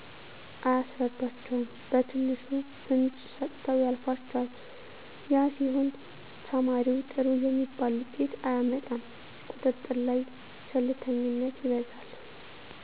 አያስረዷቸዉም በትንሹ ፍንጭ ሰጥተዉ ያልፏቸዋል ያ ሲሆን ተማሪዉ ጥሩ የሚባል ዉጤት አያመጣም ቁጥጥር ላይ ቸልተኝነት ይበዛል